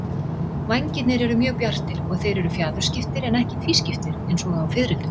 Vængirnir eru mjög bjartir og þeir eru fjaðurskiptir en ekki tvískiptir eins og á fiðrildum.